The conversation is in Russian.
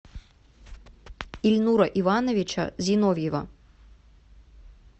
ильнура ивановича зиновьева